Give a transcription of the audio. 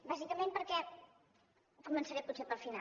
bàsicament perquè començaré potser pel final